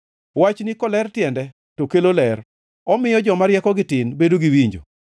Wachni koler tiende to kelo ler, omiyo joma riekogi tin bedo gi winjo.